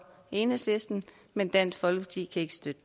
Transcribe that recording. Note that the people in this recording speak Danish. enhedslisten men dansk folkeparti kan ikke støtte